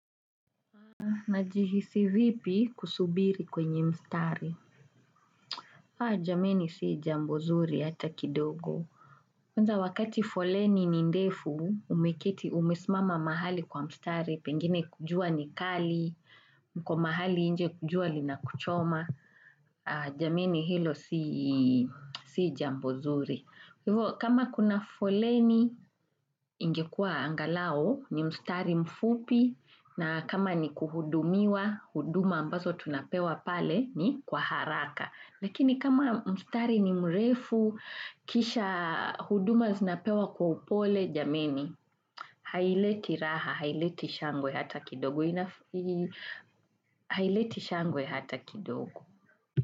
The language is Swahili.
Najihisi vipi kusubiri kwenye mstari? Jameni si jambo zuri hata kidogo. Kwanza wakati foleni ni ndefu, umeketi umesimama mahali kwa mstari, pengine jua ni kali, mko mahali nje jua lina kuchoma. Jameni hilo si jambozuri. Hivo kama kuna foleni ingekuwa angalau ni mstari mfupi na kama ni kuhudumiwa huduma ambazo tunapewa pale ni kwa haraka. Lakini kama mstari ni mrefu kisha huduma zinapewa kwa upole jameni, haileti raha, haileti shangwe hata kidogo.